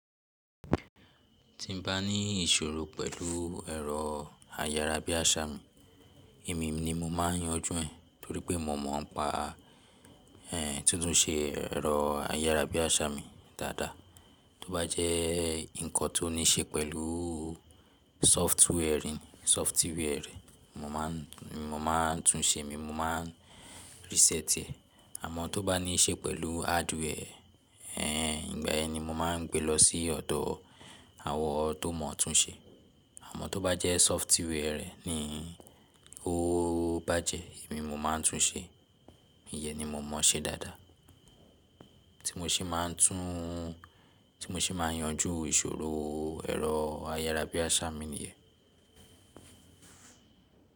Tí n bá ní ìṣòro pẹ̀lú ẹ̀rọ ayárabíàṣá mi, èmi ni mo máa ń yanjú ẹ̀ torí pé mò mọ̀ ọ́n pa ẹ́ tí ó tún ṣe ẹ̀rọ ayárabíàṣá mi dáadáa. Tó bá jẹ́ nǹkan tó ní ṣe pẹ̀lú software, mo máa ń tún un ṣe mi, mo máa ń reset ẹ̀. Àmọ́ tó bá ní ṣe pẹ̀lú hardware ẹ́, ìgbà ẹni mo máa ń gbé lọ sí ọ̀dọ̀ àwọn tó mọ̀ tún un ṣe. Àmọ́ tó bá jẹ́ software rẹ̀ ni ó bá jẹ́, èmi mo máa ń tún un ṣe. Ìyẹn ni mo mọ̀ ọ́ ṣe dáadáa. Tí mo ṣe máa ń tún, tí mo ṣe máa ń yanjú ìṣòro ẹ̀rọ ayárabíàṣá mi níyẹn.